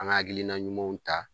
An ga hakilina ɲumanw ta